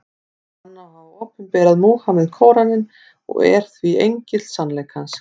Hann á að hafa opinberað Múhameð Kóraninn, og er því engill sannleikans.